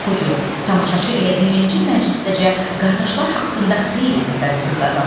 Oxucu, tamaşaçı elə birinci məclisdəcə qardaşlar haqqında xeyli təsəvvür qazanır.